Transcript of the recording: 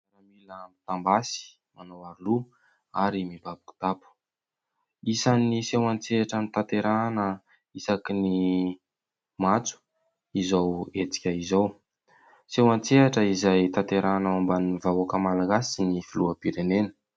Miaramila mitam- basy, manao aro loha ary mibabo kitapo. Isan'ny seho an- tsehatra notanterahina isaky ny matso izao hetsika izao. Seho an- tsehatra izay tanterahina ao ambanin'ny vahoaka malagasy sy ny filoham-pirenena.